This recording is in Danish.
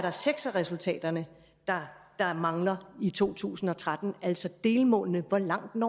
er seks af resultaterne der der mangler i to tusind og tretten altså delmålene hvor langt